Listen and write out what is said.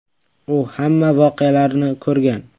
U hamma voqealarni ko‘rgan.